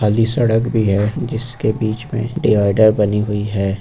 खाली सड़क भी है जिसके बीच में डिवाइडर बनी हुई है।